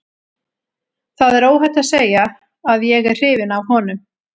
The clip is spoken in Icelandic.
Það er óhætt að segja að ég er hrifinn af honum.